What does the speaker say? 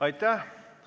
Aitäh!